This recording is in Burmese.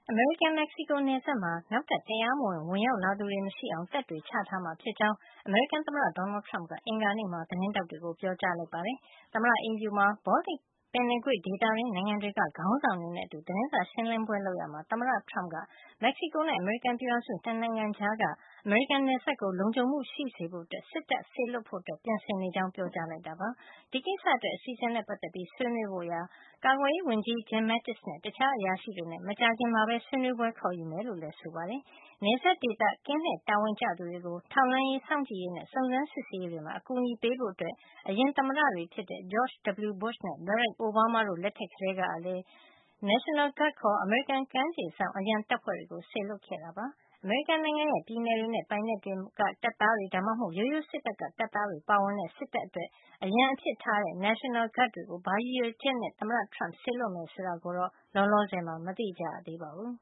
အမေရိကန်- မက်ဆီကိုနယ်စပ်မှာ နောက်ထပ်တရားမဝင် ဝင်ရောက်လာသူတွေမရှိအောင် တပ်တွေချထားမှာ ဖြစ်ကြောင်း အမေရိကန်သမ္မတ Donald Trump က အင်္ဂါနေ့မှာ သတင်းထောက်တွေကို ပြောပါတယ်။ သမ္မတအိမ်ဖြူတော်မှာ Baltic ပင်လယ်ကွေ့ဒေသတွင်းနိုင်ငံတွေက ခေါင်းဆောင်တွေနဲ့အတူ သတင်းစာရှင်းလင်းပွဲ လုပ်ရာမှာ သမ္မတ Trump က - မက်ဆီကိုနဲ့ အမေရိကန်ပြည်ထောင်စု ၂ နိုင်ငံကြားက အမေရိကန်နယ်စပ်ကို လုံခြုံမှုရှိစေဖို့ စစ်တပ်စေလွှတ်ဖို့ ပြင်ဆင်နေကြာင်း ပြောကြားလိုက်တာပါ။ ဒီကိစ္စအတွက် အစီအစဉ်နဲ့ ပတ်သက်ပြီးဆွေးနွေးဖို့ ကာကွယ်ရေးဝန်ကြီး Jim Mattis နဲ့ တခြားအရာရှိတွေနဲ့ မကြာခင်မှာပဲ ဆွေးနွေးပွဲ ခေါ်ယူတော့မှာ ဖြစ်ကြောင်းလည်း ပြောပါတယ်။ နယ်စပ်ဒေသကင်းလှည့်တာဝန်ကျသူတွေကို ထောက်လှန်းရေး၊ စောင့်ကြည့်ရေးနဲ့ စုံစမ်းစစ်ဆေးရေးတွေမှာ အကူညီပေးဖို့အတွက် အရင်သမ္မတတွေဖြစ်တဲ့ George W. Bush နဲ့ Barack Obama တို့လက်ထက်ကလည်း National Guard ခေါ် အမေရိကန် ကမ်းခြေစောင့်အရံတပ်ဖွဲ့တွေကို စေလွှတ်ခဲ့တာပါ။ အမေရိကန်နိုင်ငံရဲ့ ပြည်နယ်တွေနဲ့ ပိုင်နက်တွေက တပ်သားတွေ ဒါမှမဟုတ် ရိုးရိုးစစ်တပ်ကတပ်သားတွေ ပါဝင်တဲ့ စစ်တပ်အတွက် အရံအဖြစ်ထားတဲ့ National Guard တွေကို ဘာရည်ရွယ်ချက်နဲ့ သမ္မတ Trump စေလွှတ် မယ်ဆိုတာတော့ လောလောဆယ် မသိရသေးပါဘူး